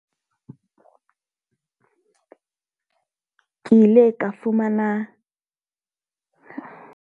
Ke ile ka fumana .